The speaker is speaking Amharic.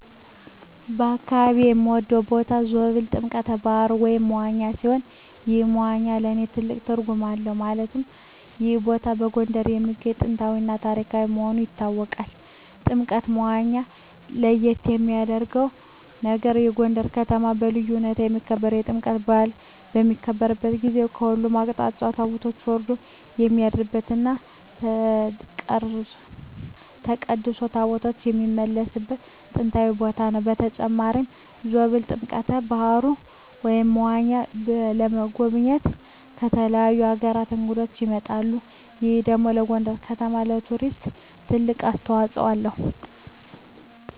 በአካባቢየ የምወደው ቦታ ዞብል ጥምቀተ ባህሩ (መዋኛ) ሲሆን ይህ መዋኛ ለእኔ ትልቅ ትርጉም አለው ማለትም ይህ ቦታ በጎንደር የሚገኝ ጥንታዊ እና ታሪካዊ መሆኑ ይታወቃል። ጥምቀተ መዋኛው ለየት የሚያረገው ነገር በጎንደር ከተማ በልዩ ሁኔታ የሚከበረው የጥምቀት በአል በሚከበርበት ጊዜ በሁሉም አቅጣጫ ታቦት ወርዶ የሚያድርበት እና ተቀድሶ ታቦታት የሚመለስበት ጥንታዊ ቦታ ነው። በተጨማሪም ዞብል ጥምቀተ በሀሩ (መዋኛው) ለመጎብኘት ከተለያዩ አገራት እንግዶች ይመጣሉ ይህ ደግሞ ለጎንደር ከተማ ለቱሪዝም ትልቅ አስተዋጽኦ አለው።